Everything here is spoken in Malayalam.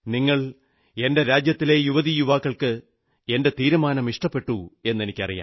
നിങ്ങൾക്ക് എന്റെ രാജ്യത്തിലെ യുവതീ യുവാക്കൾക്ക് എന്റെ തീരുമാനം ഇഷ്ടപ്പെട്ടു എന്നെനിക്കറിയാം